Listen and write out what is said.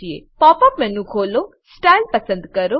pop up menu ખોલો style પસંદ કરો